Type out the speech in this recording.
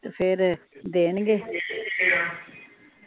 ਤੇ ਫਿਰ ਦੇਣਗੇ